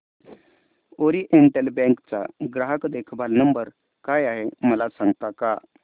oriental bank चा ग्राहक देखभाल नंबर काय आहे मला सांगता का